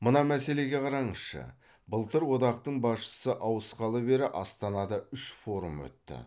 мына мәселеге қараңызшы былтыр одақтың басшысы ауысқалы бері астанада үш форум өтті